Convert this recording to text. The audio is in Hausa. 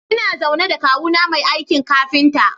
Ina zaune da kawuna mai aikin kafinta.